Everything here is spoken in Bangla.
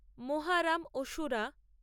মোহারাম অসুরা